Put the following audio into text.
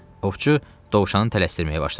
Ovçu dovşanı tələsdirməyə başladı.